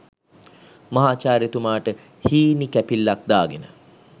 මහාචාර්යතුමාට හීනි කැපිල්ලක් දාගෙන